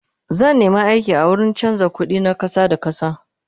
zan nema aiki a wurin chanza ƙuɗi na ƙasa da ƙasa